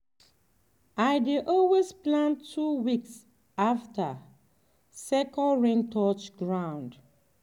i dey always plant two weeks after second rain touch ground.